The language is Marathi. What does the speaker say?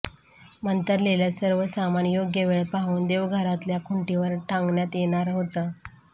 मंतरलेलं सर्व सामान योग्य वेळ पाहून देवघरातल्या खुंटीवर टांगण्यात येणार होतं